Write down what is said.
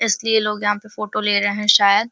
इसलिए लोग यहाँ पे फोटो ले रहे हैं शायद --